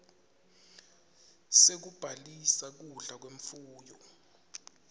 sekubhalisa kudla kwemfuyo